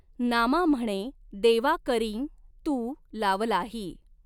नामा म्हणॆ दॆवा करीं तूं लावलाही.